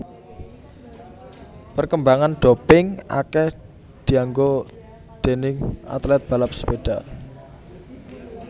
Perkembangan doping akeh dianggo déning atlet balap sepeda